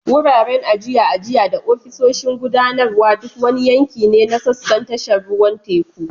Wuraren ajiya, ajiya, da ofisoshin gudanarwa duk wani yanki ne na sassan tashar ruwan teku.